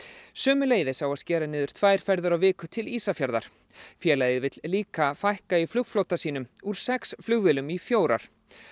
sömuleiðis á að skera niður tvær ferðir á viku til Ísafjarðar félagið vill líka fækka í flugflotanum úr sex flugvélum í fjórar